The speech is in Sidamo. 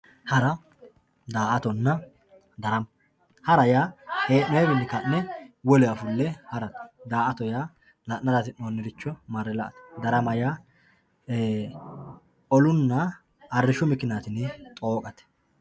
Haara daatonna daaramma haara yaa heenoyiwinni kanne woleewa fulle haratte daato yaa la'nara hasi'noniricho maare laatte daarama yaa ee ollunna arishu mikiniyatinni xooqatte